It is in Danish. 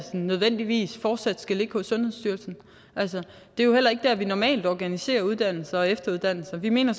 nødvendigvis fortsat skal ligge hos sundhedsstyrelsen det er jo heller ikke der vi normalt organiserer uddannelse og efteruddannelse vi mener